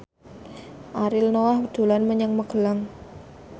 Ariel Noah dolan menyang Magelang